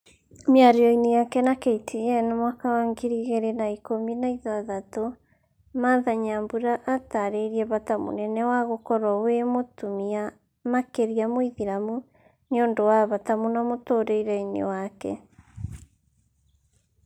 Mĩario-inĩ yake na KTN mwaka wa ngiri igĩrĩ na ikumi na ithathatũ martha nyambura atarĩirie bata mũnene wa gũkorwo wĩ mũtumĩa makĩria mũithĩramu, niũndũ wa bata mũno mũtũrire-ini wake